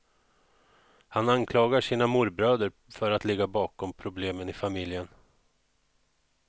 Han anklagar sina morbröder för att ligga bakom problemen i familjen.